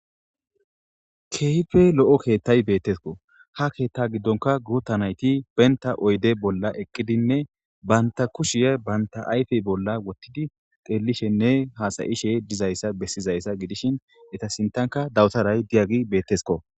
Kehipe lo,o kethayi betes ha ketha gidonka gutha nayiti benta oyide bolla eqidinne bantha kushiya bantha ayife bolla wotidi xelishenne hasayishe dizayisa besizayisa gidishin eta sinthanka dabtarayi diyage betesko